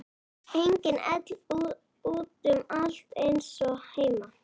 Engin ell út um allt eins og heima.